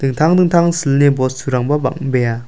ingtang dingtang silni bosturangba bang·bea.